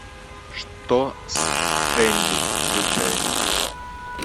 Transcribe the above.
что с энди включай